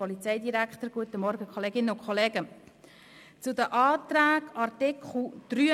Die SVP-Fraktion lehnt beide Anträge ab.